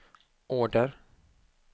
order